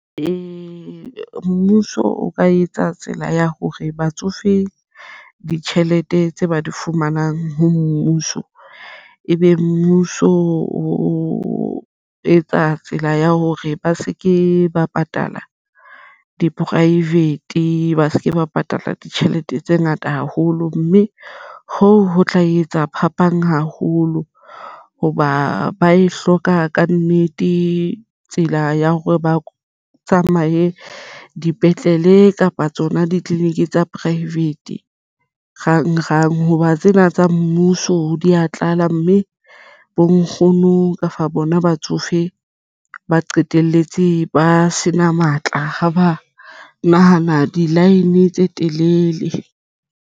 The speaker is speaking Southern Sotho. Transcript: Mmuso o ka etsa tsela ya hore batsofe ditjhelete tse ba di fumanang ho mmuso ebe mmuso o etsa tsela ya hore ba se ke ba patala di-private ba se ke ba patala ditjhelete tse ngata haholo mme hoo ho tla etsa phapang haholo hoba ba e hloka kannete tsela ya hore baka tsamaye dipetlele kapa tsona di-clinic tsa private rang rang hoba tsena tsa mmuso di tlala mme bo nkgono kapa bona batsofe ba qetelletse ba sena matla ha ba nahana di-line tse telele.